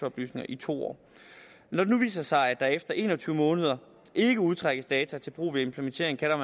oplysninger i to år når det nu viser sig at der efter en og tyve måneder ikke udtrækkes data til brug ved implementering kan der